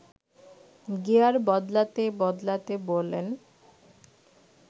gear বদলাতে বদলাতে বলেন